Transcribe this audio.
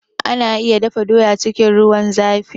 Ana iya dafa doya cikin ruwan zafi